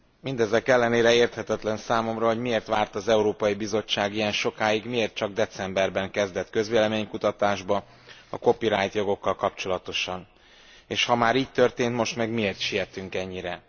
Mindezek ellenére érthetetlen számomra, hogy miért várt az Európai Bizottság ilyen sokáig, miért csak decemberben kezdett közvélemény kutatásba a copyright jogokkal kapcsolatosan, és ha már így történt most meg miért sietünk ennyire?